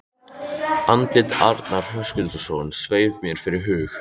Andlit Arnar Höskuldssonar sveif mér fyrir hug